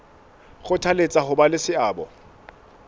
kgothaletsa ho ba le seabo